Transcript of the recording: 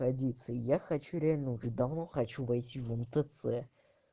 традиции я хочу реально уже давно хочу войти в мтц